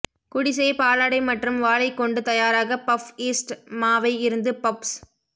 குடிசை பாலாடை மற்றும் வாழை கொண்டு தயாராக பஃப் ஈஸ்ட் மாவை இருந்து பஃப்ஸ்